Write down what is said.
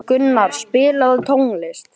Guðfreður, stilltu tímamælinn á þrjár mínútur.